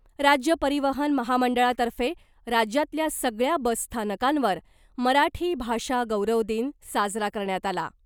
राज्य परिवहन महामंडळातर्फे राज्यातल्या सगळ्या बसस्थानकांवर मराठी भाषा गौरव दिन साजरा करण्यात आला .